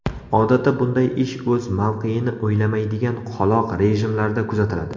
Odatda bunday ish o‘z mavqeini o‘ylamaydigan qoloq rejimlarda kuzatiladi.